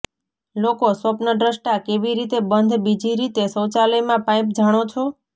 લોકો સ્વપ્નદ્રષ્ટા કેવી રીતે બંધ બીજી રીતે શૌચાલયમાં પાઇપ જાણો છો